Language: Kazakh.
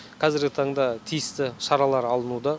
қазіргі таңда тиісті шаралар алынуда